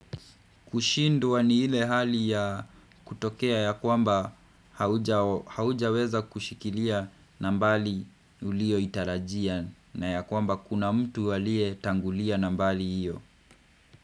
Kushindwa ni ile hali ya kutokea ya kwamba haujaweza kushikilia na mbali ulio itarajia na ya kwamba kuna mtu aliye tangulia nambari iyo.